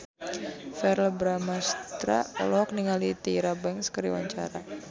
Verrell Bramastra olohok ningali Tyra Banks keur diwawancara